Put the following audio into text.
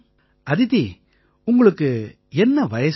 அதிதி உங்களுக்கு என்ன வயசாகுது